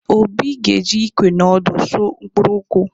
Obi ga-eji ìkwé na òdù usò mkpuru nkwụ.